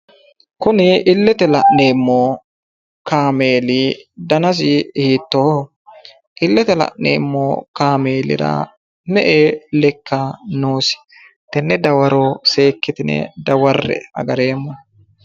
Kuni illete la'neemmo kaameeli danasi hiittooho? illete la'neemmo kaameelira me"e lekka noosi? Tenne dawaro seekkitine dawarre"e. Agareemmo.